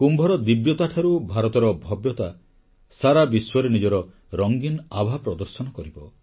କୁମ୍ଭର ଦିବ୍ୟତାଠାରୁ ଭାରତର ଭବ୍ୟତା ସାରା ବିଶ୍ୱରେ ନିଜର ରଙ୍ଗୀନ ଆଭା ପ୍ରଦର୍ଶନ କରିବ